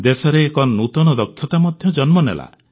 ଦେଶରେ ଏକ ନୂତନ ଦକ୍ଷତା ମଧ୍ୟ ଜନ୍ମନେଲା